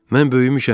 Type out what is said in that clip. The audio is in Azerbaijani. Mən böyümüşəm.